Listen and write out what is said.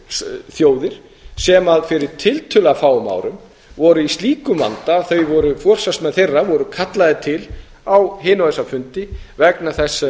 hér þjóðir sem fyrir tiltölulega fáum árum voru í slíkum vanda að þau voru forsvarsmenn þeirra voru kallaðir til á hina og þessa fundi vegna þess